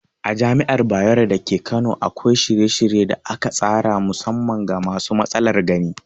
A Jami'ar Bayero dake Kano akwai shirye-shirye da aka tsara musamman ga masu matsalar gani.